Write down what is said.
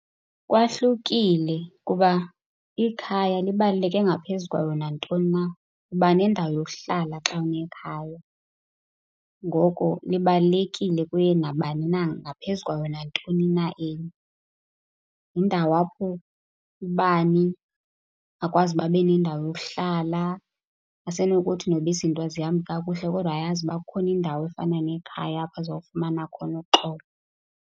Kwahlukile kuba ikhaya libaluleke ngaphezu kwayo nantoni na. Uba nendawo yokuhla xa unekhaya ngoko libalulekile kuye nabani na ngaphezu kwayo nantoni na enye. Yindawo apho ubani akwazi uba abe nendawo yokuhlala. Asenokuthi noba izinto azihambi kakuhle kodwa ayazi uba kukhona indawo efana nekhaya apho azawufumana khona uxolo.